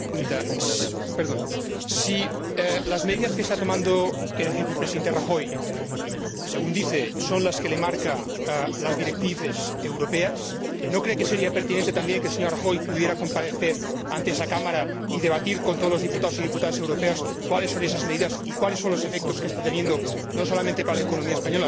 Si las medidas que está tomando el Ejecutivo del Presidente Rajoy, según dice, son las que le marcan las directrices europeas, ¿no cree que sería pertinente también que el señor Rajoy pudiera comparecer ante esta Cámara y debatir con todos los diputados y diputadas europeos cuáles son esas medidas y cuáles son los efectos que están surtiendo no solamente para la economía española sino también para el resto de las economías europeas?